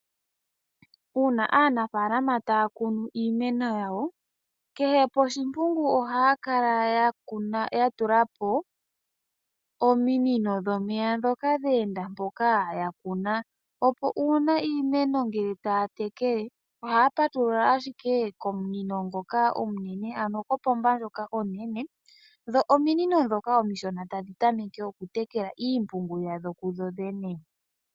Uuna aanafaalama taya kunu iimeno yawo, kehe podhimpungu ohaya kala yatulapo ominino dhomeya dhoka dha enda mpoka yakuna, opo uuna iimeno ngele taya tekele ohaya patulula ashike komunino ngoka omunene, ano kopomba ndjoka onene, dho ominino dhoka omishona tadhi tameke oku tekela iimpungu yadho kudho dhene.